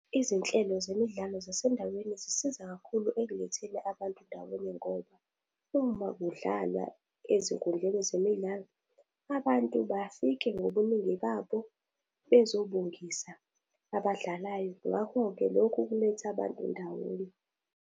Izinhlelo zemidlalo zasendaweni zisiza kakhulu ekuletheni abantu ndawonye ngoba, uma kudlalwa ezinkundleni zemidlalo, abantu bafike ngobuningi babo bezobongisa abadlalayo. Ngakho-ke, lokhu kuletha abantu ndawonye.